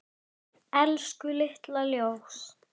Elsku litla ljós.